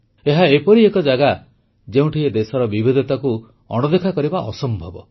ଏହା ଏପରି ଏକ ଜାଗା ଯେଉଁଠି ଏ ଦେଶର ବିବିଧତାକୁ ଅଣଦେଖା କରିବା ଅସମ୍ଭବ